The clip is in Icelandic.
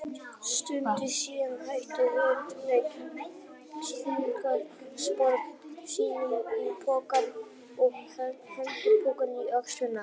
Stuttu síðar hættu þau leiknum, stungu spöðum sínum í poka og hengdu pokann á öxlina.